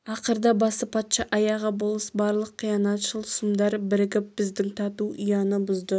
ақырда басы патша аяғы болыс барлық қиянатшыл сұмдар бірігіп біздің тату ұяны бұзды